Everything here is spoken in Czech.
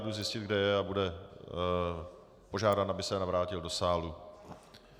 Jdu zjistit, kde je, a bude požádán, aby se navrátil do sálu.